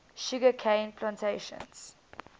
sugar cane plantations